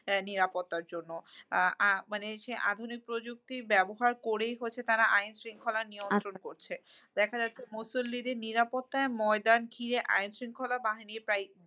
নিরাপত্তার জন্য। আহ মানে সেই আধুনিক প্রযুক্তির ব্যবহার করেই হচ্ছে তারা আইন শৃঙ্খলা নিয়ন্ত্রণ করছে। দেখা যাচ্ছে মুসল্লিদের নিরাপত্তায় ময়দান ঘিরে আইনশৃঙ্খলা বাহিনীর প্রায়